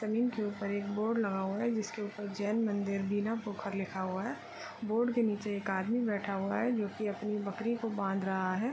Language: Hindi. जमींन के ऊपर एक बोर्ड लगा हुआ है जिसके ऊपर जैन मंदिर बीना पोखर लिखा हुआ है बोर्ड के नीचे एक आदमी बैठा हुआ है जो कि अपनी बकरी को बांध रहा है।